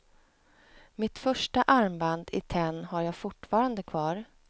Mitt första armband i tenn har jag fortfarande kvar.